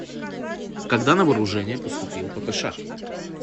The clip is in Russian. когда на вооружение поступил ппш